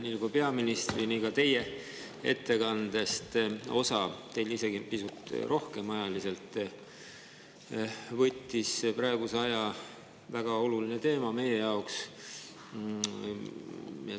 Nii nagu peaministri, nii oli ka osa teie ettekandest – teil ajaliselt isegi pisut rohkem – praegusel ajal meie jaoks väga olulisel teemal.